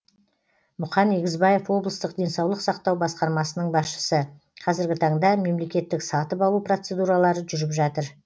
мұқан егізбаев облыстық денсаулық сақтау басқармасының басшысы қазіргі таңда мемлекеттік сатып алу процедуралары жүріп жатыр